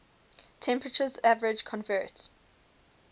temperatures average convert